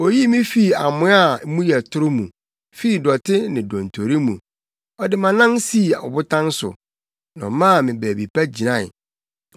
Oyii me fii amoa a mu yɛ toro mu, fii dɔte ne dontori mu; ɔde mʼanan sii ɔbotan so na ɔmaa me baabi pa gyinae.